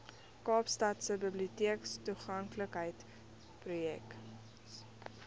kaapstadse biblioteektoeganklikheidsprojek smart